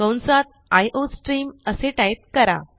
कंसात आयोस्ट्रीम असे टाईप करा